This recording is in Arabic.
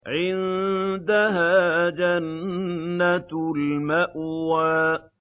عِندَهَا جَنَّةُ الْمَأْوَىٰ